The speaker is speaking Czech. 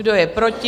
Kdo je proti?